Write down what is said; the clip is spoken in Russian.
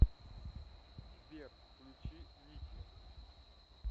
сбер включи ники